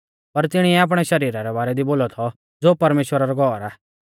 पर तिणीऐ आपणै शरीरा रै बारै दी बोलौ थौ ज़ो परमेश्‍वरा रौ घौर आ